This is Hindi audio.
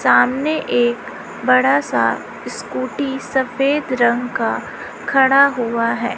सामने एक बड़ा सा स्कूटी सफेद रंग का खड़ा हुआ है।